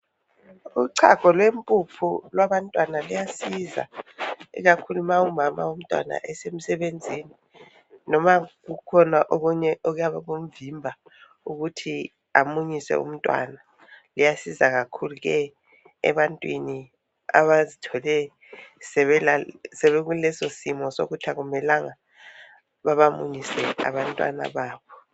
Uchago lwempuphu lwabantwana luyasiza. Ikakhulu ma umama womntwana esemsebenzini noma kukhona okunye okuyabe kumvimba ukuthi amunyise umntwana luyasiza kakhulu ebantwini abazithola sebekuleso simo sokuthi akumelanga babamunyise abantwana babo.